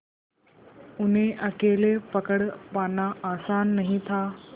उन्हें अकेले पकड़ पाना आसान नहीं था